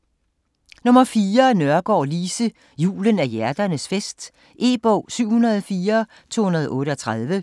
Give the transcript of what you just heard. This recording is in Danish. Nørgaard, Lise: Julen er hjerternes fest E-bog 704238